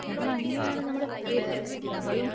നമ്മൾ അങ്ങനെ ആണ് നമ്മൾ പോയത് ഞങ്ങളും